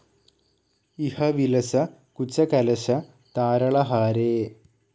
ഇഹ വിലസ കുചകലശ താരളഹാരേ,